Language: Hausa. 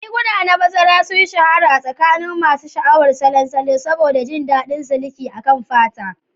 Riguna na bazara sun shahara a tsakanin masu sha'awar salon salo saboda jin daɗin siliki akan fata.